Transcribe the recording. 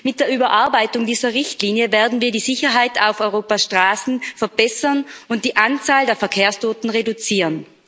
Mit der Überarbeitung dieser Richtlinie werden wir die Sicherheit auf Europas Straßen verbessern und die Anzahl der Verkehrstoten reduzieren.